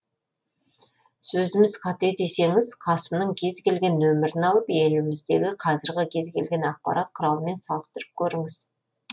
сөзіміз қате десеңіз қасымның кез келген нөмірін алып еліміздегі қазіргі кез келген ақпарат құралымен салыстырып көріңіз